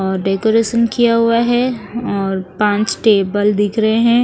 और डेकोरेशन किया हुआ है और पांच टेबल दिख रहे है।